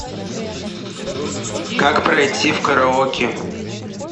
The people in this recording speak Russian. как пройти в караоке